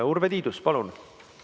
Urve Tiidus, palun!